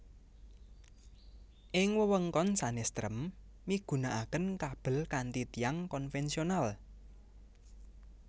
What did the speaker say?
Ing wewengkon sanés trem migunakaken kabel kanthi tiang konvensional